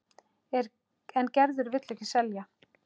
En Gerður vill ekki selja.